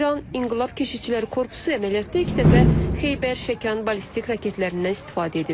İran İnqilab Keşikçiləri Korpusu əməliyyatda ilk dəfə Xeybər Şəkan ballistik raketlərindən istifadə edib.